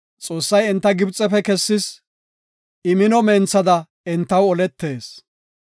Xoossay enta Gibxefe kessis; I mino menthada entaw oletees.